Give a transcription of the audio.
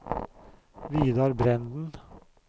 Vidar Brenden